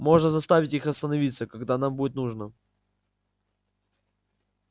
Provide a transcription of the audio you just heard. можно заставить их остановиться когда нам будет нужно